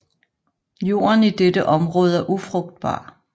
Jorden i dette område er ufrugtbar